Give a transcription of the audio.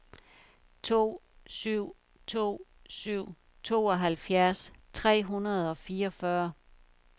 to syv to syv tooghalvfjerds tre hundrede og fireogfyrre